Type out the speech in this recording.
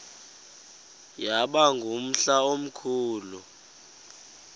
yaba ngumhla omkhulu